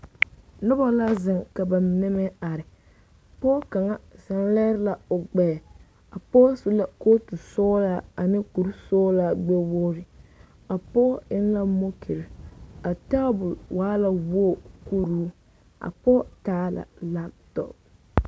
Noba la zeŋ ka ba mine meŋ are, pɔge kaŋa meele la o gbɛɛ, a pɔge su la kooti sɔglaa ane kur sɔglaa gbɛɛ wogiri a pɔge eŋe la mooki, a tabol waa la wogi kuro a pɔge taa la kompita.